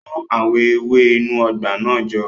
Kó àwọn ewé inú ọgbà náà jọ